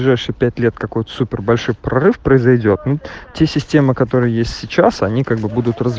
ближайшие лет какается супер большой прорыв произойдёт телесистемы которой есть сейчас они как бы